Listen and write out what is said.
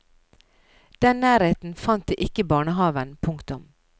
Den nærheten fant de ikke i barnehaven. punktum